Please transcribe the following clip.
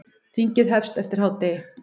Þingið hefst eftir hádegi.